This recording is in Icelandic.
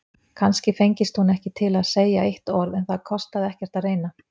Kannski fengist hún ekki til að segja eitt orð, en það kostaði ekkert að reyna.